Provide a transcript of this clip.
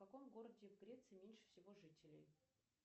в каком городе в греции меньше всего жителей